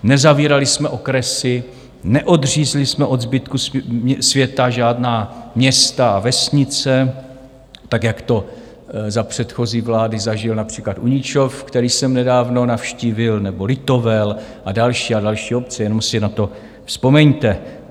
Nezavírali jsme okresy, neodřízli jsme od zbytku světa žádná města a vesnice, tak jak to za předchozí vlády zažil například Uničov, který jsem nedávno navštívil, nebo Litovel a další a další obce, jenom si na to vzpomeňte.